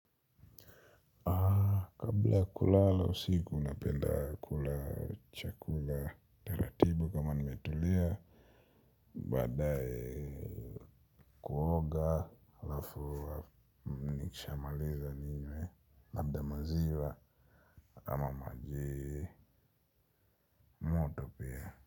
Kabla kulala usiku napenda kula chakula taratibu kama nimetulia badaye kuoga alafu nikishamaliza ninywe labda maziwa ama maji.